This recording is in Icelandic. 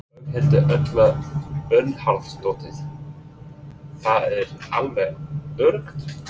Berghildur Erla Bernharðsdóttir: Það er alveg öruggt?